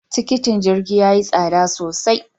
Tikitin jirgi ya yi tsada sosai.